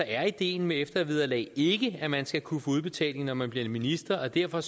er ideen med eftervederlag ikke at man skal kunne få udbetaling når man bliver minister og derfor